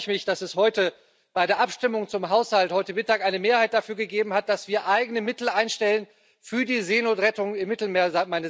Deswegen freue ich mich, dass es bei der Abstimmung zum Haushalt heute Mittag eine Mehrheit dafür gegeben hat, dass wir eigene Mittel einstellen für die Seenotrettung im Mittelmeer.